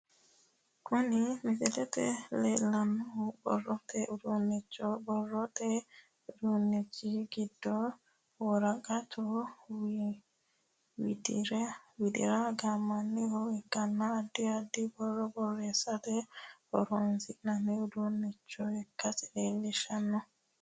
Kunni misilete la'neemohu borote uduunichooti borote uduunichi gidono woraqatu widira gaamamanoha ikanna addi addi boro boreesirate horoonsi'nanni uduunicho ikasi leelishano.